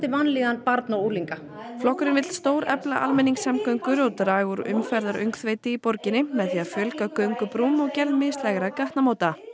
vanlíðan barna og unglinga flokkurinn vill stórefla almenningssamgöngur og draga úr í borginni með því að fjölga göngubrúm og gerð mislægra gatnamóta